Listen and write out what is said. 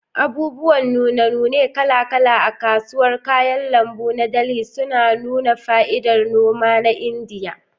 Abubuwan nune-nune kala-kala a kasuwar kayan lambu na Delhi suna nuna fa'idar noma na Indiya.